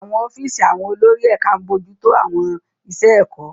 Àwọn ọ́fíìsì àwọn olórí ẹ̀ka ń bójú tó àwọn iṣẹ́ ẹ̀kọ́.